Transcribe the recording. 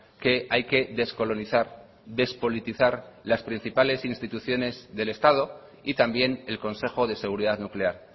que hay que descolonizar despolitizar las principales instituciones del estado y también el consejo de seguridad nuclear